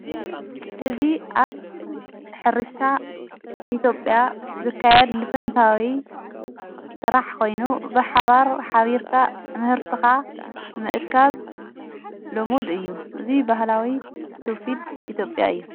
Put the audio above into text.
እዝ ኣብ ኅርሻ ኢቲጴያ ዝካያድ ልፈንታዊ ሠራሕ ኮይኑ ብሓባር ኃቢርካ ምህርቱኻ ምእካብ ሎሙድ እዩ እዙይ በህላዊ ትውፊድ ኢቴብያ እዩ።